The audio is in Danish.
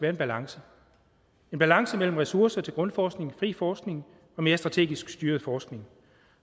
en balance en balance mellem ressourcer til grundforskning fri forskning og mere strategisk styret forskning